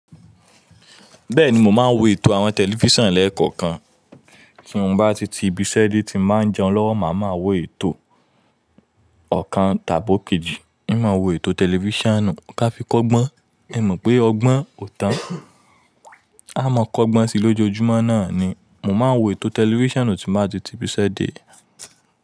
Bẹ́ẹ̀ni mo máa ń wo ètò àwọn tẹlifísàn lẹ́ẹ̀kọ̀kan. Tí mo bá ti ti ibiṣẹ́ dé, tí máa ń jẹun lọ́wọ́, màá máa wo ètò ọ̀kan tàbí òkèji. Hiń máa wo ètò tẹlifísàn ka Fi kọ́gbọ́n. Ẹ mọ̀ pé ọgbọ́n ò tán. Á máa kọ́gbọ́n síi lójoojúmọ́ náà ni. Mo máa ń wo ètò tẹlifísàn tí mo bá ti ti ibiṣẹ́ dé.